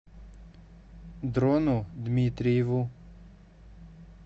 дрону дмитриеву